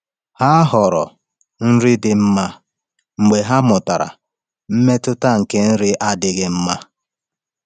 Ha họọrọ nri dị mma mgbe ha mụtara mmetụta nke nri adịghị mma.